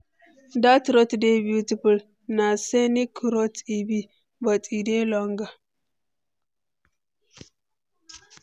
dat route dey beautiful, na scenic route e be, but e dey longer.